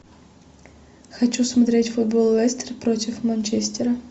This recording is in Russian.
хочу смотреть футбол лестер против манчестера